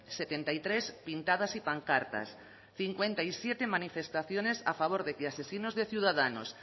setenta y tres pintadas y pancartas cincuenta y siete manifestaciones a favor de que asesinos de ciudadanos